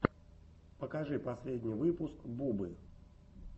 покажи последний выпуск бубы